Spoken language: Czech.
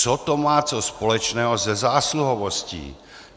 Co to má co společného se zásluhovostí?